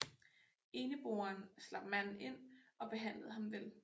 Eneboeren slap manden ind og behandlede ham vel